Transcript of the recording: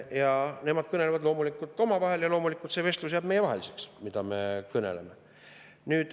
Loomulikult on neil need kõnelused omavahelised ja loomulikult jääb see meie vahele, mida me kõneleme.